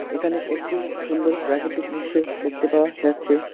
এখানে একটি সুন্দর প্রাকৃতিক দৃশ্য দেখতে পাওয়া যাচ্ছে।